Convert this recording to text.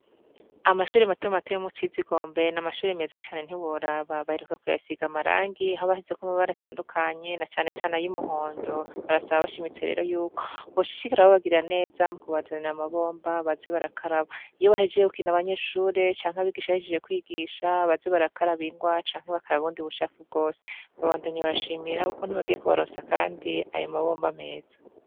Amashuri matuma mate yo mu cizigombe na amashuri meza cane ntiboraba baheruka kuyasiga amarangi ahoabashizeko mabaratandukanye na canecane ay'umuhondo barasaba bashaimitserero yuko boshishikara babagirira neza mu kubazanira amabomba baze barakaraba iyo bahejeye kukina abanyeshure canke abigisha ahishije kwigisha baze barakara abingwa canke bakara bundi buha akugose babandamyi barashimira uko ntibagiye kubaronsa, kandi aya mabomba ameza.